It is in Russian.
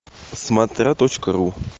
смотря точка ру